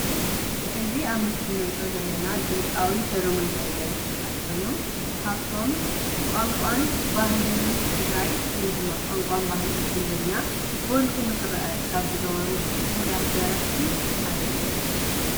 እዚ ኣብ ምስሊ ንሪኦ ዘለና ድምፃዊ ሰለሙ ሃይለ ዝበሃል ኮይኑ ካብቶም ቋንቋን ባህልን ትግራይ ወይ ድማ ቋንቋን ባህሊ ትግርኛ ጎሊሁ ንክርአ ካብ ዝገበሩ ውርያት ደረፍቲ ሓደ እዩ ።